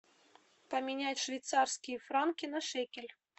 поменять швейцарские франки на шекель